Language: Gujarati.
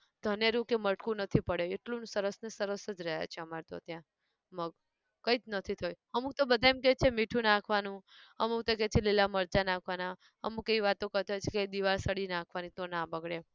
ધનેરું કે મરકું નથી પડે એટલું ન સરસ ને સરસ જ રહ્યા છે અમારે તો ત્યાં, મગ, કંઈજ નથી થયું અમુક તો બધા એમ કેહ છે મીઠું નાખવાનું, અમુક તો કેહ છે લીલાં મરચાં નાંખવાના, અમુક એવી વાતો કરતા હોય છે કે દિવાસળી નાખવાની તો ના બગડે એમ